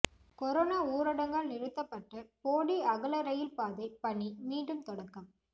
corona ஊரடங்கால் நிறுத்தப்பட்ட போடி அகலரயில் பாதை பணி மீண்டும் தொடக்கம்